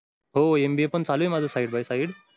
हो mba पण चालू आहे माझं side by side